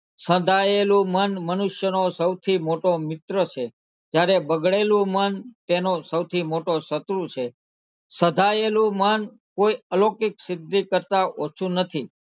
સધાયેલું મન મનુષ્યનો સૌથી મોટો મિત્ર છે જયારે બગડેલું મન તેનો સૌથી મોટો શત્રુ છે સધાયેલું મન કોઈ અલૌકિક સિદ્ધિ કરતાં ઓછુ નથી.